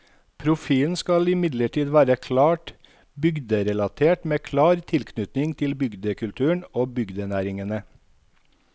Profilen skal imidlertid være klart bygderelatert med klar tilknytning til bygdekulturen og bygdenæringene.